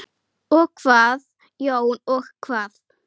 Og hvað Jón, og hvað?